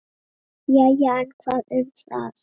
Jæja, en hvað um það.